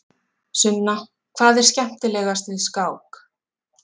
Sunna: Hvað er skemmtilegast við skák?